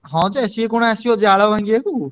ହଁ ଯେ ସିଏ କଣ ଆସିବ ଜାଳ ଭାଙ୍ଗିଆକୁ।